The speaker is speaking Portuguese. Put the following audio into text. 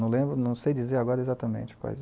Não lembro, não sei dizer agora exatamente quais.